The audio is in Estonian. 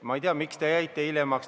Ma ei tea, miks te hiljaks jäite.